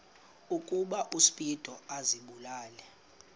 ukuba uspido azibulale